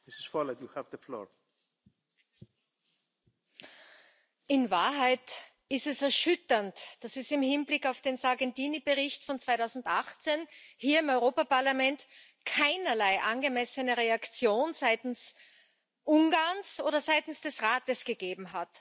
Herr Präsident! In Wahrheit ist es erschütternd, dass es im Hinblick auf den Sargentini Bericht von 2018 hier im Europäischen Parlament keinerlei angemessene Reaktion seitens Ungarns oder seitens des Rates gegeben hat.